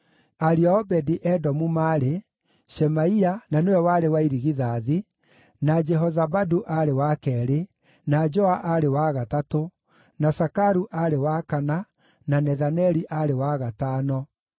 Ariũ a Obedi-Edomu maarĩ: Shemaia, na nĩwe warĩ wa irigithathi, na Jehozabadu aarĩ wa keerĩ, na Joa aarĩ wa gatatũ, na Sakaru aarĩ wa kana, na Nethaneli aarĩ wa gatano,